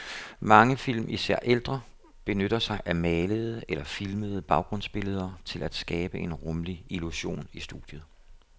Mange film, især ældre, benytter sig af malede eller filmede baggrundsbilleder til at skabe en rumlig illusion i studiet.